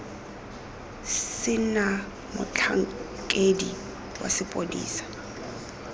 se na motlhankedi wa sepodisi